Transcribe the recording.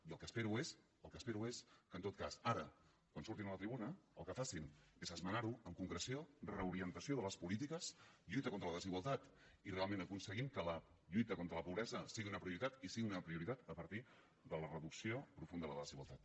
i el que espero és que en tot cas ara quan surtin a la tribuna el que facin sigui esmenar ho amb concreció reorientació de les polítiques lluita contra la desigualtat i realment aconseguim que la lluita contra la pobresa sigui una prioritat i sigui una prioritat a partir de la reducció profunda de la desigualtat